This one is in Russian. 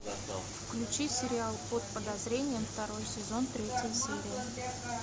включи сериал под подозрением второй сезон третья серия